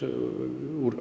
úr